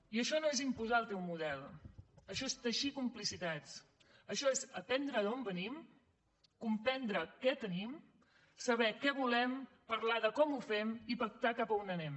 i això no és imposar el teu model això és teixir complicitats això aprendre d’on venim comprendre què tenim saber què volem parlar de com ho fem i pactar cap a on anem